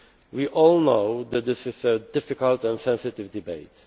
We all know that this is a difficult and sensitive debate.